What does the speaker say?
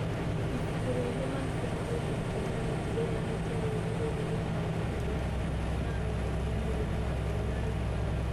Ibuku rĩa Human Phenotype Ontology rĩheanĩte rũũri rũrũ rwa maũndũ marĩa maronania mũrimũ wa Donnai Barrow.